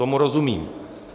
Tomu rozumím.